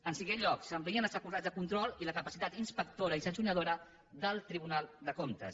en cinquè lloc s’amplien les facultats de control i la capacitat inspectora i sancionadora del tribunal de comptes